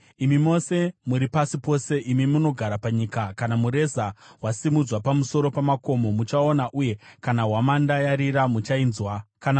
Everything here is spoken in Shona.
Imi mose muri pasi pose, imi munogara panyika, kana mureza wasimudzwa pamusoro pamakomo, muchauona, uye kana hwamanda yarira, muchainzwa.